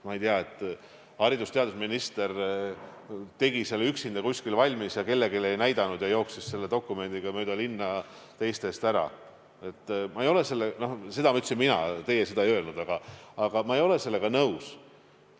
Ma ei tea, et haridus- ja teadusminister oleks teinud selle üksinda kuskil valmis, nii et ta kellelegi ei näidanud, ja jooksnud selle dokumendiga mööda linna teiste eest ära – seda ütlesin mina, teie seda ei öelnud, aga ma ei ole sellega nõus.